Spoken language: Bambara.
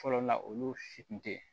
Fɔlɔ la olu si tun tɛ